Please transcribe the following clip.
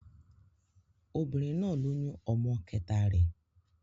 Obìnrin náà lóyún ọmọ kẹta rẹ̀.